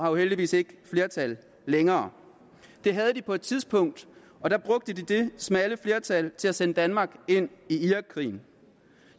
jo heldigvis ikke flertal længere det havde de på et tidspunkt og der brugte de det smalle flertal til at sende danmark ind i irakkrigen